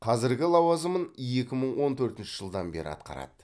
қазіргі лауазымын екі мың он төртінші жылдан бері атқарады